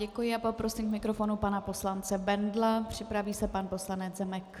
Děkuji a poprosím k mikrofonu pana poslance Bendla, připraví se pan poslanec Zemek.